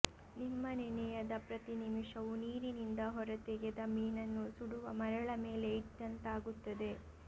ನಿಮ್ಮ ನೆನೆಯದ ಪ್ರತಿ ನಿಮಿಷವು ನೀರಿನಿಂದ ಹೊರತೆಗೆದ ಮೀನನ್ನು ಸುಡುವ ಮರಳ ಮೇಲೆ ಇಟ್ಟಂತಾಗುತ್ತದೆ